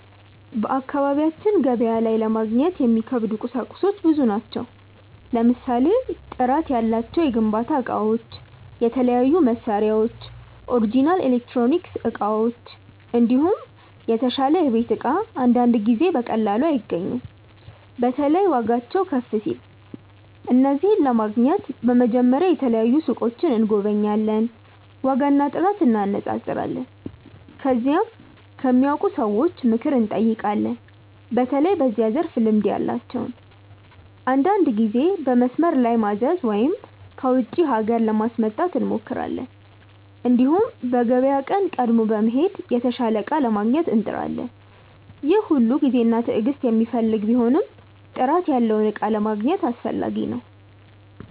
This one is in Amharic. በአካባቢያችን ገበያ ላይ ለማግኘት የሚከብዱ ቁሳቁሶች ብዙ ናቸው። ለምሳሌ ጥራት ያላቸው የግንባታ እቃዎች፣ የተለያዩ መሳሪያዎች፣ ኦሪጅናል ኤሌክትሮኒክስ እቃዎች፣ እንዲሁም የተሻለ የቤት እቃ አንዳንድ ጊዜ በቀላሉ አይገኙም። በተለይ ዋጋቸው ከፍ ሲል። እነዚህን ለማግኘት በመጀመሪያ የተለያዩ ሱቆችን እንጎበኛለን፣ ዋጋና ጥራት እንነጻጸራለን። ከዚያም ከሚያውቁ ሰዎች ምክር እንጠይቃለን፣ በተለይ በዚያ ዘርፍ ልምድ ያላቸውን። አንዳንድ ጊዜ በመስመር ላይ ማዘዝ ወይም ከውጪ ሀገር ለማስመጣት እንሞክራለን። እንዲሁም በገበያ ቀን ቀድሞ በመሄድ የተሻለ እቃ ለማግኘት እንጥራለን። ይህ ሁሉ ጊዜና ትዕግስት የሚፈልግ ቢሆንም ጥራት ያለውን እቃ ለማግኘት አስፈላጊ ነው።